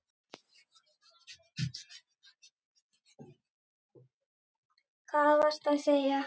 Hvað varstu að segja?